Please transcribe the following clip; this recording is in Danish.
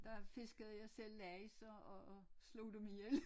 Der fiskede jeg selv laks og og slog dem ihjel